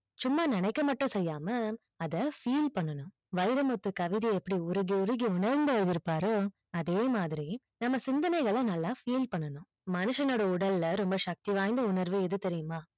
சும்மா நினைக்க மட்டும் செய்யாமல் அத feel பண்ணனும் வைரமுத்து கவிதை எப்பிடி உருகி உருகி உன்னது எழுதிப்பாரோ அதே மாதிரி நம்ம சிந்தனைகல நல்ல feel பண்ணனும் மனுஷனோட உடலை ரொம்ப சக்தி வாய்ந்த உணர்வு எது தெரியுமா